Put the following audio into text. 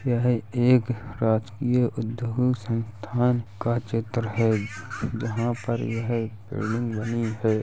यह एक राजकीय उद्योग संस्थान का चित्र है। जहाँ पर यह बिल्डिंग बनी है।